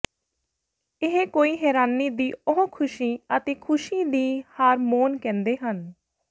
ਇਹ ਕੋਈ ਹੈਰਾਨੀ ਦੀ ਉਹ ਖੁਸ਼ੀ ਅਤੇ ਖੁਸ਼ੀ ਦੀ ਹਾਰਮੋਨ ਕਹਿੰਦੇ ਹਨ